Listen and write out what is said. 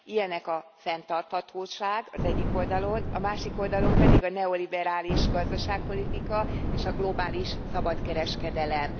Ilyenek a fenntarthatóság az egyik oldalon, a másik oldalon pedig a neoliberális gazdaságpolitika, és a globális szabad kereskedelem.